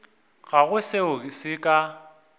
ga go seo se ka